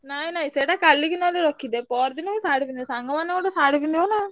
ନାଇଁ ନାଇଁ ସେଟା କାଲିକି ନହେଲେ ରଖିଦେ ପରଦିନ ମୁଁ ଶାଢୀ ପିନ୍ଧିବି। ସାଙ୍ଗମାନେ ଗୋଟେ ଶାଢୀ ପିନ୍ଧିବ ନା ଆଉ।